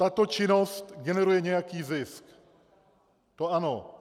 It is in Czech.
Tato činnost generuje nějaký zisk, to ano.